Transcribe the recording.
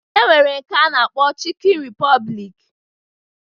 E nwere nke a na-akpọ Chịkịn Ripọblik